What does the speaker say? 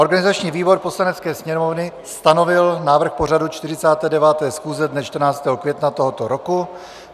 Organizační výbor Poslanecké sněmovny stanovil návrh pořadu 49. schůze dne 14. května tohoto roku.